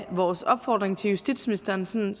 vores opfordring til justitsministeren sådan